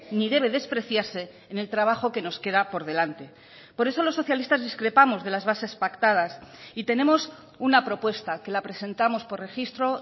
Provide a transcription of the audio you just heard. ni debe despreciarse en el trabajo que nos queda por delante por eso los socialistas discrepamos de las bases pactadas y tenemos una propuesta que la presentamos por registro